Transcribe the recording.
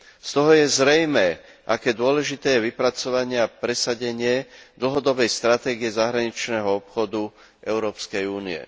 Z toho je zrejmé, aké dôležité je vypracovanie a presadenie dlhodobej stratégie zahraničného obchodu Európskej únie.